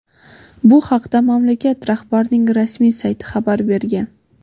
Bu haqda mamlakat rahbarining rasmiy sayti xabar bergan.